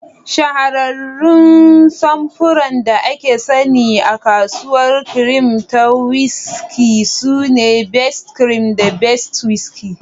Shahararrun samfuran da aka sani a kasuwar kirim da whiskey sune Best Cream da Best Whiskey.